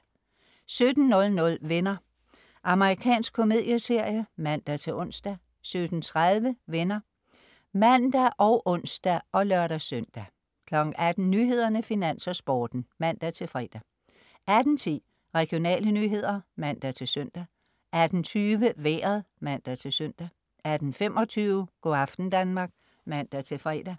17.00 Venner. Amerikansk komedieserie (man-ons) 17.30 Venner (man og ons og lør-søn) 18.00 Nyhederne, Finans og Sporten (man-fre) 18.10 Regionale nyheder (man-søn) 18.20 Vejret (man-søn) 18.25 Go' aften Danmark (man-fre)